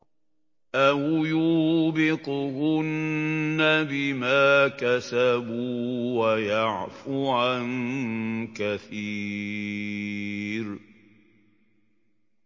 أَوْ يُوبِقْهُنَّ بِمَا كَسَبُوا وَيَعْفُ عَن كَثِيرٍ